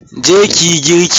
Je ki yi girki!